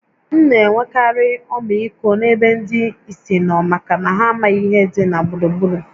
M na-enwekarị ọmịiko n’ebe ndị ìsì nọ maka na ha amaghị ihe dị ha gburugburu